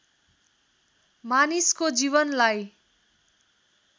मानिसको जीवनलाई